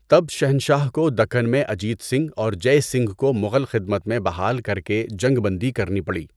تب شہنشاہ کو دکن میں اجیت سنگھ اور جَے سنگھ کو مغل خدمت میں بحال کر کے جنگ بندی کرنی پڑی۔